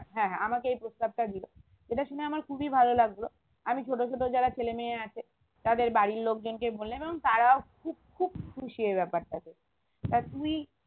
হ্যাঁ হ্যাঁ আমাকে এই প্রস্তাব টা দিলো এটা শুনে আমার খুবই ভালো লাগলো আমি ছোট ছোট যারা ছেলেমেয়ে আছে তাদের বাড়ির লোকজনকে বলে এবং তারাও খুব খুব খুশি এই ব্যাপারটাতে তা তুই